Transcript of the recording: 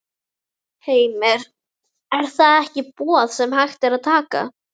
Heimir: Er það ekki boð sem hægt er að taka?